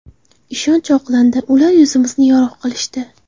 Ishonch oqlandi, ular yuzimizni yorug‘ qilishdi.